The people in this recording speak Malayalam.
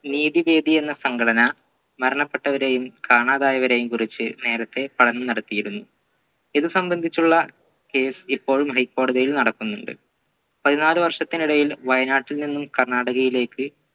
നീതി വേദി എന്ന സംഘടന മരണപ്പെട്ടവരെയും കാണാതായവരെയും കുറിച്ച് നേരത്തെ പഠനം നടത്തിയിരുന്നു ഇത് സംബന്ധിച്ചുള്ള case ഇപ്പോഴും high ക്കോടതിയിൽ നടക്കുന്നുണ്ട് പതിനാല് വർഷത്തിനിടയിൽ വയനാട്ടിൽ നിന്നും കർണാടകയിലേക്ക്